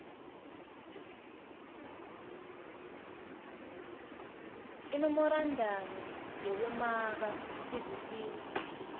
imemorandamu yekumaka sivisiso